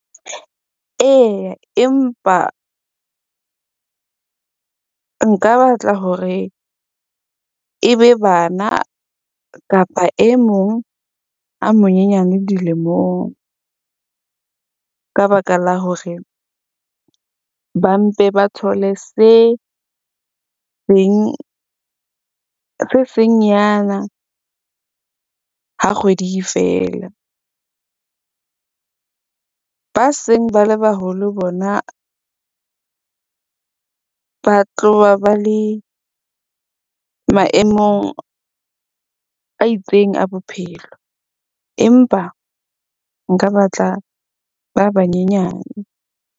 Eya, empa nka batla hore e be bana kapa e mong a monyenyane dilemong ka baka la hore ba mpe ba thole se seng se seng nyana ha kgwedi e fela. Ba seng ba le baholo bona ba tloha ba le maemong a itseng a bophelo. Empa nka batla ba ba nyenyane.